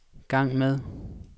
gang med